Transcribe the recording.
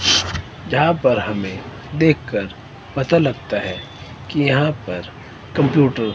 यहां पर हमें देखकर पता लगता है कि यहां पर कंप्यूटर --